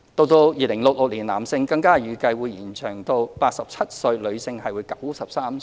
到2066年，男性更預計會延長至87歲，女性則為93歲。